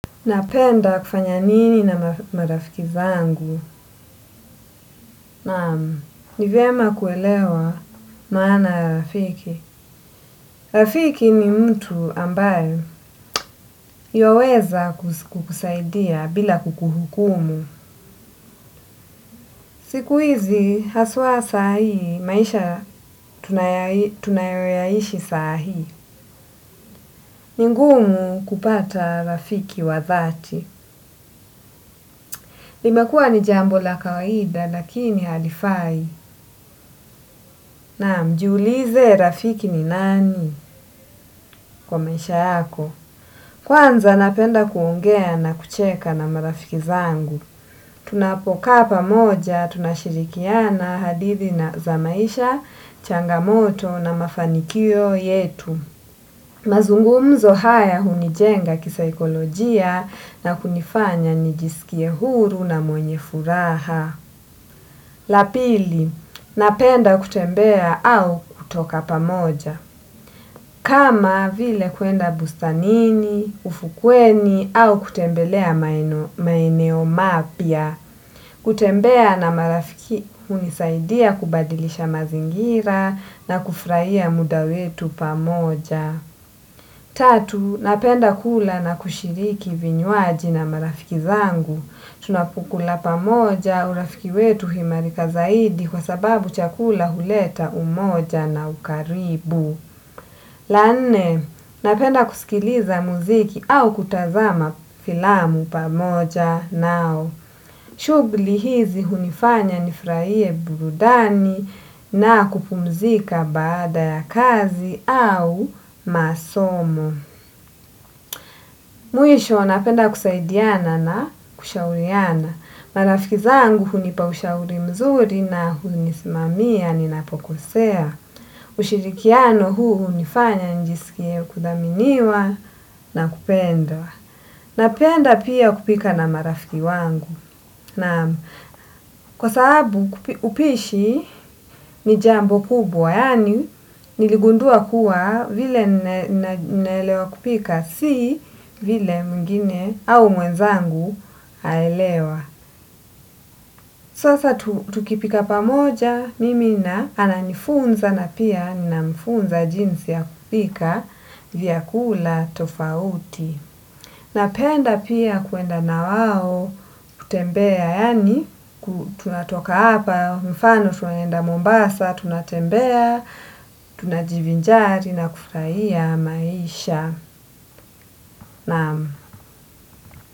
Napenda kufanya nini na marafiki zangu? Naam, ni vyema kuelewa maana ya rafiki. Rafiki ni mtu ambaye ywaweza kukusaidia bila kukuhukumu. Siku hizi haswa saa hii, maisha tunayoyaishi saa hii. Ni ngumu kupata rafiki wa dhati. Limekuwa ni jambo la kawaida lakini halifai. Naam, jiulize rafiki ni nani kwa maisha yako? Kwanza napenda kuongea na kucheka na marafiki zangu. Tunapokaa pamoja, tunashirikiana hadithi na za maisha, changamoto na mafanikio yetu. Mazungumzo haya hunijenga kisaikolojia na kunifanya nijisikie huru na mwenye furaha. La pili, napenda kutembea au kutoka pamoja. Kama vile kuenda bustanini, ufukweni, au kutembelea maeneo mapya. Kutembea na marafiki hunisaidia kubadilisha mazingira na kufurahia muda wetu pamoja. Tatu, napenda kula na kushiriki vinywaji na marafiki zangu. Tunapokula pamoja urafiki wetu huimarika zaidi kwa sababu chakula huleta umoja na ukaribu. La nne, napenda kusikiliza muziki au kutazama filamu pamoja nao. Shughuli hizi hunifanya nifurahie burudani na kupumzika baada ya kazi au masomo. Mwisho, napenda kusaidiana na kushauriana. Marafiki zangu hunipa ushauri mzuri na hunisimamia ninapokosea. Ushirikiano huu hunifanya nijisikie kudhaminiwa na kupendwa. Napenda pia kupika na marafiki wangu. Naam, kwa sababu upishi ni jambo kubwa yaani niligundua kuwa vile ninaelewa kupika si vile mwingine au mwenzangu aelewa. Sasa tukipika pamoja mimi na ananifunza na pia ninamfunza jinsi ya kupika vyakula tofauti. Napenda pia kuenda na wao kutembea, yaani tunatoka hapa mfano tunaenda Mombasa, tunatembea, tunajivinjari na kufurahia maisha.